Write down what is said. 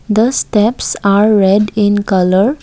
The steps are red in colour.